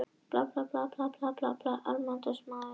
Tunglið er fullt um það bil einu sinni í hverjum almanaksmánuði.